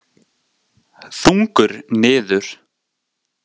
Þungur niður.